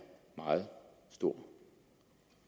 meget stor